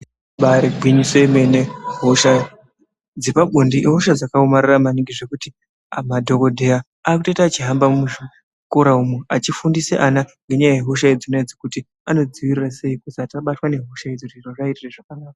Ibaari gwinyiso yemene hosha dzepabonde ihosha dzakaomarara maningi zvekuti madhokodheya aakutoita echihamba muzvikora umu achifundise ana ngenyaya yehosha idzona idzi kuti asabatwe nehosha idzodzi zviaitire zvakanaka.